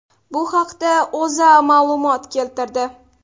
Bu haqda O‘zA ma’lumot keltirdi .